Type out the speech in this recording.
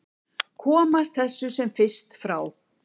Koma þessu sem fyrst frá.